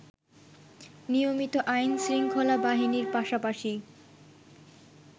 নিয়মিত আইনশৃঙ্খলা বাহিনীর পাশাপাশি